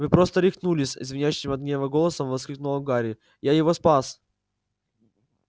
вы просто рехнулись звенящим от гнева голосом воскликнул гарри я его спас